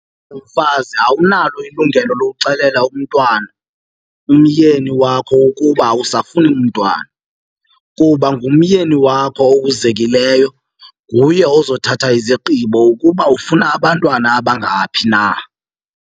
mfazi awunalo ilungelo lokuxelela umntwana, umyeni wakho ukuba awusafuni mntwana kuba ngumyeni wakho okuzekileyo. Nguye ozothatha izigqibo ukuba ufuna abantwana abangaphi na.